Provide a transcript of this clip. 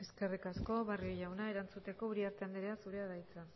tema muchas gracias eskerrik asko barrio jauna erantzuteko uriarte jauna zurea da hitza